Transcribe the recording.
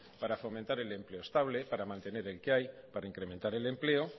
para fomentar el empleo estable para mantener el que hay para incrementar el empleo